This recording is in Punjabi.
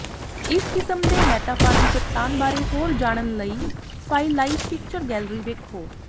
ਇਸ ਕਿਸਮ ਦੇ ਮੈਟਾਫਾਰਮ ਚੱਟਾਨ ਬਾਰੇ ਹੋਰ ਜਾਣਨ ਲਈ ਫਾਈਲਾਈਟ ਪਿਕਚਰ ਗੈਲਰੀ ਵੇਖੋ